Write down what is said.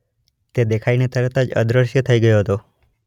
તે દેખાઇને તરત જ અદ્રશ્ય થઈ ગયો હતો.